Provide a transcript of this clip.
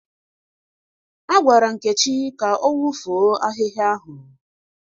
Agwara Nkechi ka ọ wụfuo ahịhịa ahụ.